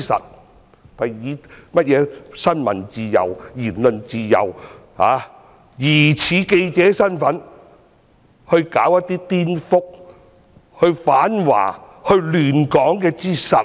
他們正是以新聞自由、言論自由之名，疑似以記者身份去攪一些顛覆、反華亂港之實。